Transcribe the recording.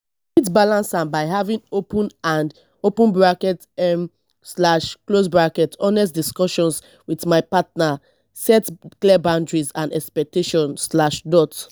i fit balance am by having open and open bracket um slash close bracket honest discussions with my partner set clear boundaries and expectations slash dot